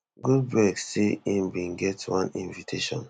goldberg say im bin get one invitation